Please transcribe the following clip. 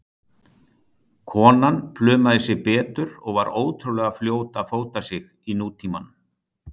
Konan plumaði sig betur og var ótrúlega fljót að fóta sig í nútímanum.